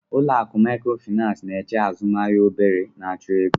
Ụlọ akụ Maịkrofịnansị n'eche azụmahịa obere na-achọ ego.